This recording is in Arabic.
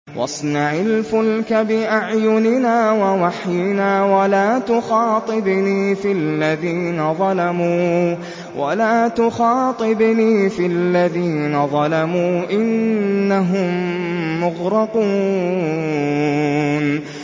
وَاصْنَعِ الْفُلْكَ بِأَعْيُنِنَا وَوَحْيِنَا وَلَا تُخَاطِبْنِي فِي الَّذِينَ ظَلَمُوا ۚ إِنَّهُم مُّغْرَقُونَ